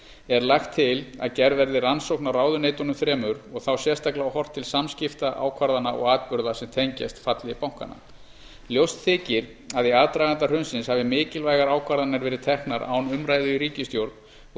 er lagt til að gerð verði rannsókn á ráðuneytunum þremur og þá sérstaklega horft til samskipta ákvarðana og atburða sem tengjast falli bankanna ljóst þykir að í aðdraganda hrunsins hafi mikilvægar ákvarðanir verið teknar án umræðu í ríkisstjórn og